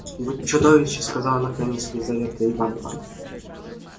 вы чудовище сказала наконец лизавета ивановна